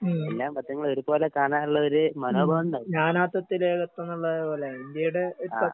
എല്ലാ മതങ്ങളെയും ഒരുപോലെ കാണാനുള്ളൊരു മനോഭാവോണ്ടായി. ആഹ്